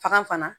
Fagan fana